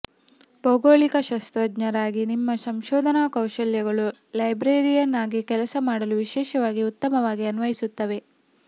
ಭೌಗೋಳಿಕ ಶಾಸ್ತ್ರಜ್ಞರಾಗಿ ನಿಮ್ಮ ಸಂಶೋಧನಾ ಕೌಶಲ್ಯಗಳು ಲೈಬ್ರರಿಯನ್ ಆಗಿ ಕೆಲಸ ಮಾಡಲು ವಿಶೇಷವಾಗಿ ಉತ್ತಮವಾಗಿ ಅನ್ವಯಿಸುತ್ತವೆ